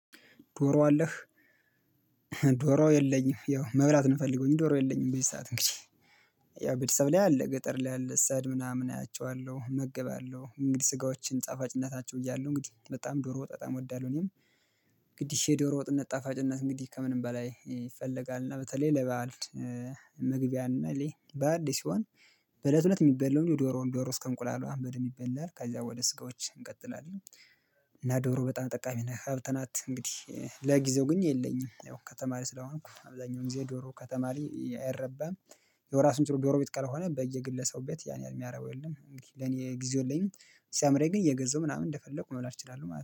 ዶሮ አለህ? ዶሮ የለኝም ያው መብላት ነው የምፈለገው እንጂ ዶሮ የለኝም። በዚህ ሰዓት እንግዲህ ያው ቤተሰብ ላይ አለ ገጠር ላይ አለ ሰሄድ ምናምን አያቸዋለሁ እመግባለሁ። እንግዲህ ስጋዎችን ጣፋጭነታቸው እያሉ እንግዲህ በጣም ዶሮ ወጥ በጣም እወዳለሁ። እኔም ግድሽ ዶሮ ወጥነት ጣፋጭነት እንግዲህ ከምንም በላይ ይፈለጋል። እና በተለይ ለባዕል መግቢያ እና ለይ በዓል ላይ ሲሆን በእለት እለት የሚበላው ምንድን ነው? ዶሮውን ዶሮ እስከ እንቁላሉ ብንድንብ ይበላል ከዛ ወደ ስጋዎች እንቀጥላለን። እና ዶሮ በጣም ጠቃሚ ነህ ሀብት ናት። እንግዲህ ለጊዜው ግን የለኝም። ያው ከተማ ላይ ስለሆንኩ አብዛኛውን ጊዜ ዶሮ ከተማ ላይ አይረባም። ያወራሱችሎ ጎረቤት ካልሆነ በየግለሰብ ቤት ያን ያህል የሚያረባው የለም። ለኔ ጊዜውየለኝም ሲያምረኝ ግን እየገዛው ምናምን እንደፈለጉ መብላት እችላለሁ ማለት ነው